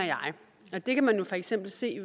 jeg det kan man for eksempel se